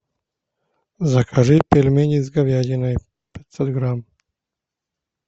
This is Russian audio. закажи пельмени с говядиной пятьсот грамм